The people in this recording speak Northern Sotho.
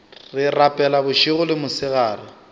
re rapela bošego le mosegare